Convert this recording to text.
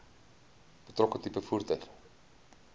betrokke tipe voertuig